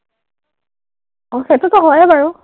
অ, সেইটোটো হয়েই বাৰু।